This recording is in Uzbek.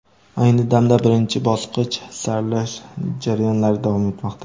Ayni damda birinchi bosqich saralash jarayonlari davom etmoqda.